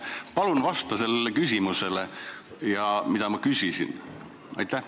Palun vasta sellele küsimusele, mis ma küsisin!